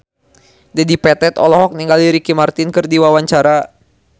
Dedi Petet olohok ningali Ricky Martin keur diwawancara